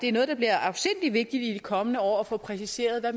er noget der bliver afsindig vigtigt i de kommende år at få præciseret